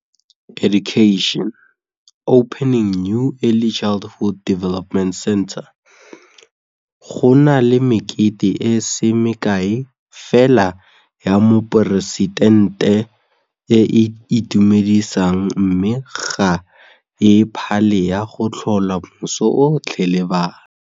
Go na le mekete e se mekae fela ya moporesitente e e itumedisang mme ga e phale ya go tlhola moso otlhe le bana.